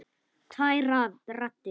Tvær raddir.